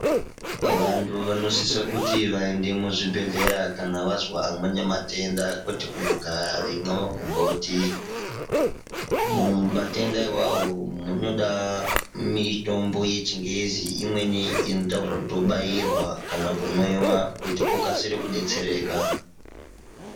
Vantu vanosisa kuti vaende muzvibhedhleya kana vazwa amweni matenda kwete kungogara veimwe magumboti, matenda iwawo muntu unoda mitombo yechingezi imweni inoita zvekutobairwa kana kumwiwa kuti ukasire kudetsereka.